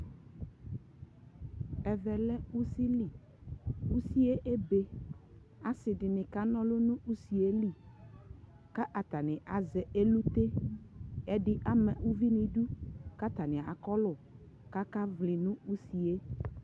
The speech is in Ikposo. ɛvɛ lɛ ʋsii li, ʋsiiɛ ɛbɛ asii dini kana ɔlʋ nʋ ʋsiiɛ li, kʋ atani azɛ ɛkʋtɛ, ɛdi ama ʋvi nʋ ɛdʋ kʋ atani akɔ lʋ kʋ aka vli nʋ ʋsiiɛ